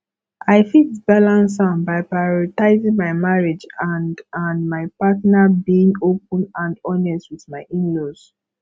i fit balance am by prioritizing my marriage and and my partner being open and honest with my inlaws